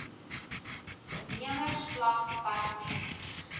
nemers vlak dept